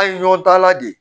An ye ɲɔgɔn dan la de ye